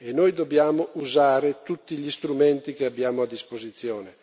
Noi dobbiamo usare tutti gli strumenti che abbiamo a disposizione.